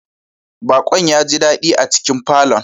Bakon ya ji dadi a cikin falon.